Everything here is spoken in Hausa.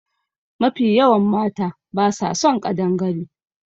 Mafi yawan mata ba sa son ƙadangare